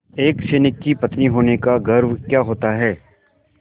एक सैनिक की पत्नी होने का गौरव क्या होता है